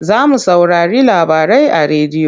Za mu saurari labarai a rediyo.